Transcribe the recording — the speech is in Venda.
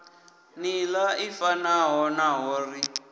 nḓila i fanaho naho ri